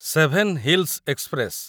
seven hills express